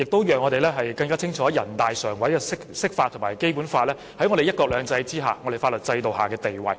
此外，我們亦更清楚知道人大常委會的釋法及《基本法》在"一國兩制"之下的法律地位。